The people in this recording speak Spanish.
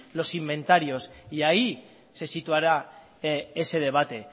los inventarios y ahí se situará ese debate